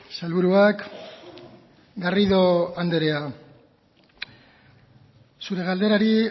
sailburuak garrido anderea zure galderari